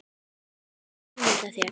Þú getur ímyndað þér.